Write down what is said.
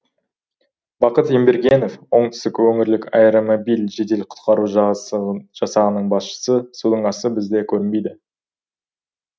бақыт ембергенов оңтүстік өңірлік аэромобиль жедел құтқару жасағының басшысы судың асты бізде көрінбейді